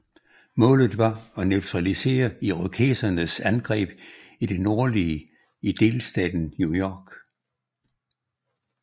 Målet var at neutralisere irokesernes angreb i det nordlige i delstaten New York